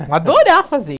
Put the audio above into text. Vou adorar fazer.